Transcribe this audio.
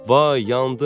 Vay yandım!